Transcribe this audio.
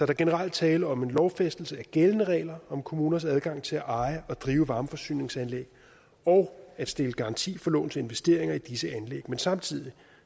er generelt tale om en lovfæstelse af gældende regler om kommuners adgang til at eje og drive varmeforsyningsanlæg og at stille garanti for lovens investeringer i disse anlæg men samtidig